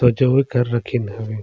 साजोये कर रखीन हवे।